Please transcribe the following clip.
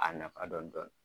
A nafa dɔn dɔn